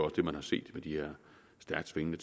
det man har set med de stærkt svingende